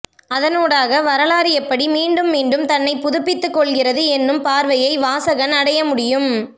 அதனூடாக வரலாறு எப்படி மீண்டும் மீண்டும் தன்னை புதுப்பித்துக்கொள்கிறது என்னும் பார்வையை வாசகன் அடையமுடியும்